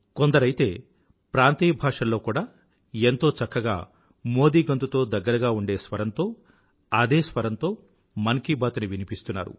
కొందరైతే ప్రాంతీయ భాషల్లో కూడా ఎంతో చక్కగా మోదీ గొంతుతో దగ్గరగా ఉండే స్వరంతో అదే స్వరంతో మన్ కీ బాత్ ని వినిపిస్తున్నారు